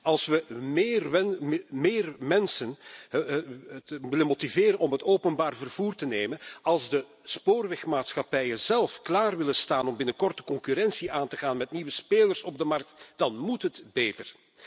Als we meer mensen willen motiveren om het openbaar vervoer te nemen en als de spoorwegmaatschappijen zelf klaar willen staan om binnenkort de concurrentie aan te gaan met nieuwe spelers op de markt, dan moet het beter.